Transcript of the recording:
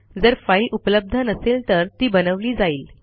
जर फाईल उपलब्ध नसेल तर ती बनवली जाईल